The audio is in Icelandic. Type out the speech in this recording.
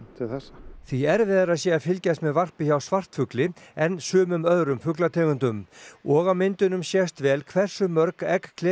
til þessa því erfiðara sé að fylgjast með varpi hjá svartfugli en sumum öðrum fuglategundum og á myndunum sést vel hversu mörg egg